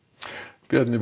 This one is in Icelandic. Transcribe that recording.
Bjarni